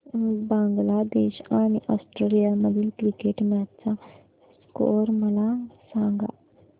बांगलादेश आणि ऑस्ट्रेलिया मधील cricket match चा स्कोअर मला सांगा